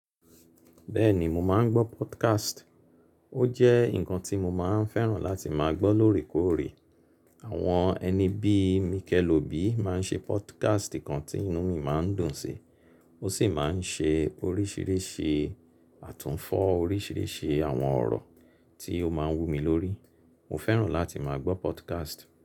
Bẹ́ẹ̀ni mo máa ń gbọ́ podcast. Ó jẹ́ nǹkan tí mo máa ń fẹ́ràn láti máa gbọ́ lóòrèkóòrè. Àwọn ẹni bí i Mikel Obi máa ń ṣe podcast kan tí inú mi máa ń dùn sí, ó sì máa ń ṣe oríṣìíríṣìí àtúnfọ̀ oríṣìíríṣìí àwọn ọ̀rọ̀ tí ó máa ń wu mi lórí. Mo fẹ́ràn láti máa gbọ́ podcast.